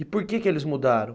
E por que que eles mudaram?